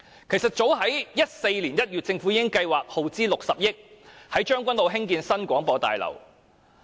其實早在2014年1月，政府已計劃耗資60億元在將軍澳興建新廣播大樓。